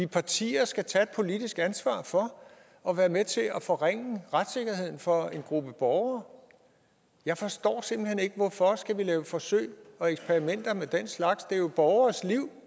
partier skal tage et politisk ansvar for og være med til at forringe retssikkerheden for en gruppe borgere jeg forstår simpelt hen ikke hvorfor vi skal lave forsøg og eksperimenter med den slags det er jo borgeres liv